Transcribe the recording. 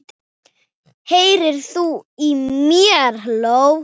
HEYRIR ÞÚ Í MÉR?!